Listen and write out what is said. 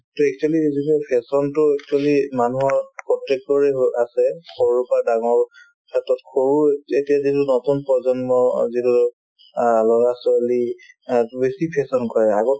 তে actually এই যিটো fashion তো actually মানুহৰ প্ৰত্যেকৰে ঘৰত আছে সৰুৰ পৰা ডাঙৰ ক্ষেত্ৰত সৰুই এতিয়া যিটো নতুন প্ৰজন্ম অ যিটো অ ল'ৰা ছোৱালী ইহঁতে বেছি fashion কৰাই আগত